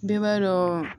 Bɛɛ b'a dɔn